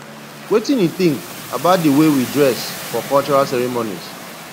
wetin you think about di way we dress for cultural ceremonies